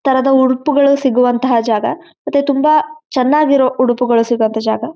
ತರದ ಉಡುಪುಗಳು ಸಿಗುವಂತಹ ಜಾಗ ಮತ್ತೆ ತುಂಬಾ ಚೆನ್ನಾಗಿರುವ ಉಡುಪುಗಳು ಸಿಗುವಂಥ ಜಾಗ.